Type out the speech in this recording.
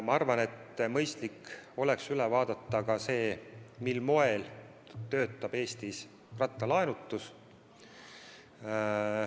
Ma arvan, et mõistlik oleks üle vaadata ka see, mil moel töötab Eestis rattalaenutus.